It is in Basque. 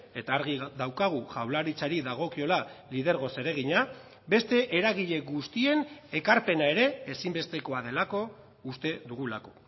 eta argi daukagu jaurlaritzari dagokiola lidergo zeregina beste eragile guztien ekarpena ere ezinbestekoa delako uste dugulako